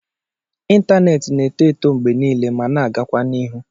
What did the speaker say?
Ịntanetị na-eto eto mgbe niile ma na-agakwa n'ihu